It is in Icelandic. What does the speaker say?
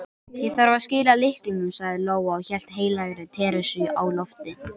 Ég þarf að skila lyklunum, sagði Lóa og hélt heilagri Teresu á lofti.